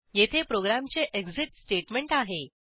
येथे प्रोग्रॅमचे exit statement आहे